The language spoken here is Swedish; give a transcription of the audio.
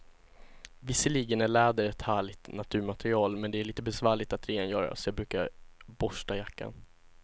Visserligen är läder ett härligt naturmaterial, men det är lite besvärligt att rengöra, så jag brukar borsta jackan.